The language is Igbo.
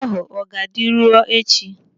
Oche ahụ ọ ga-adị ruo echi?